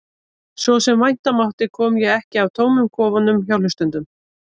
Svo sem vænta mátti kom ég ekki að tómum kofunum hjá hlustendum.